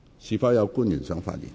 是否有官員想發言？